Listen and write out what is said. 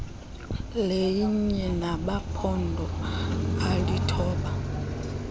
lelinye lamaphondo alithoba